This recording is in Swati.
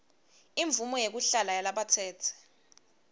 imvumo yekuhlala yalabatsetse